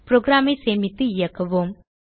program ஐ சேமித்து இயக்குவோம்